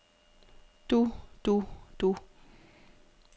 du du du